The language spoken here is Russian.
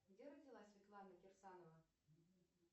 где родилась светлана кирсанова